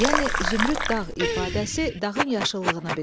Yəni zümrüd dağ ifadəsi dağın yaşıllığını bildirir.